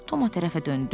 Toma tərəfə döndü.